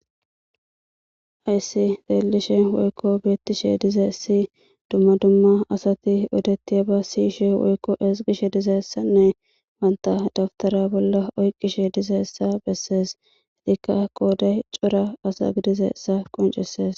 ayssi deelishe woykko beettishe dize si dumma dumma asati odetiya ba siyishe woykko esgishe dizeessanne wanta daftara bolla oyqqishe dizessa bessees edikka kooday cora asa gidizeessa qoncesees